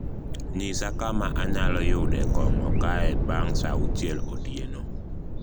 Nyisa kama anyalo yudee kong'o kae bang ' sa auchiel otieno?